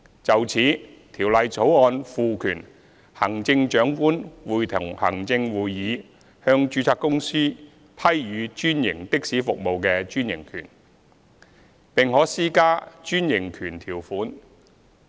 就此，《條例草案》賦權行政長官會同行政會議向註冊公司批予專營的士服務的專營權，並可施加專營權條款。